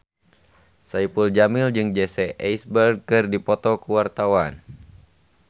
Saipul Jamil jeung Jesse Eisenberg keur dipoto ku wartawan